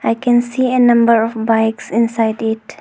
I can see a number of bikes inside it.